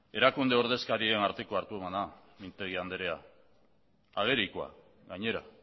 erakunde ordezkarion arteko hartuemana mintegi andrea agerikoa gainera